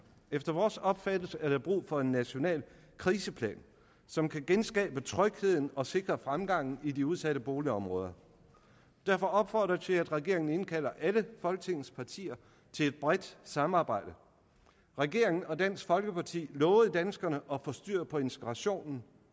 efter vores opfattelse er brug for en national kriseplan som kan genskabe trygheden og sikre fremgangen i de udsatte boligområder derfor opfordrer jeg til at regeringen indkalder alle folketingets partier til et bredt samarbejde regeringen og dansk folkeparti lovede danskerne at få styr på integrationen